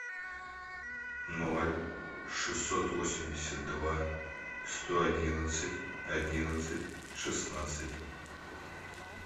ноль шестьсот восемьдесят два сто одиннадцать одиннадцать шестнадцать